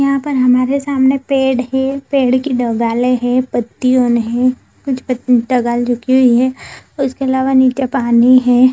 यहाँ पे हमारे सामने पेड़ है पेड़ के दो है पत्तिया है कुछ पत्ती झुकी हुई उसके अलावा नीचे पानी है।